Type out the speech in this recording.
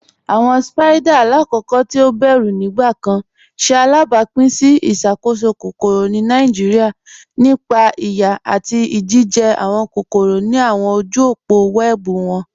Awọn Spiders, lakoko ti o bẹru nigbakan, ṣe alabapin si iṣakoso kokoro ni Nigeria nípa iyà ati ijijẹ awọn kokoro ni awọn ojú òpó wẹẹbu wọn.